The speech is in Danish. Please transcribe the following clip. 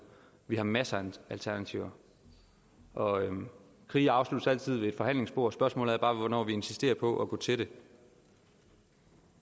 vi har masser af alternativer krige afsluttes altid ved et forhandlingsbord spørgsmålet er bare hvornår vi insisterer på at gå til det